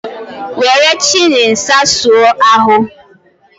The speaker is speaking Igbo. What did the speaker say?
Were chili sausụ ahụ!